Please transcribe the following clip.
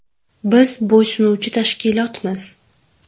Biz bo‘ysunuvchi tashkilotmiz.